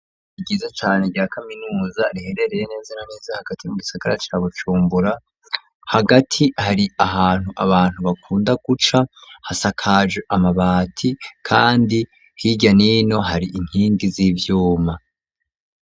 Ishure ryiza cane rya kaminuza riherereye neza na neza hagati mu gisagara ca Bujumbura hagati hari ahantu abantu bakunda guca hasakaje amabati kandi hirya nino hari inkingi z'ivyuma.